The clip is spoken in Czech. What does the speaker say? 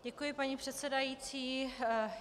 Děkuji, paní předsedající.